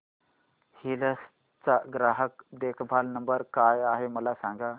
hills चा ग्राहक देखभाल नंबर काय आहे मला सांग